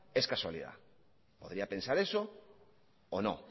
es casualidad podría pensar eso o no